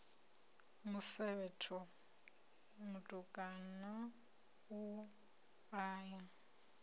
musevhetho mutukana u a ya